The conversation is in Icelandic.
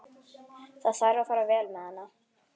Það þarf að fara vel með hana.